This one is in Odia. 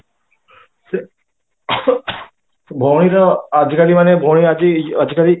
ଭଉଣୀ ର ଆଜି କାଲି ମାନେ ଭଉଣୀ ଆଜି